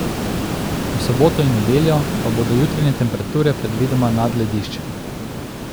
V soboto in nedeljo pa bodo jutranje temperature predvidoma nad lediščem.